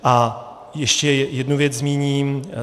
A ještě jednu věc zmíním.